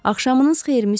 Axşamınız xeyir, Müsyo.